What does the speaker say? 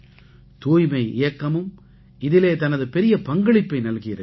தூய்மை இயக்கமும் இதிலே தனது பெரிய பங்களிப்பை நல்கியிருக்கிறது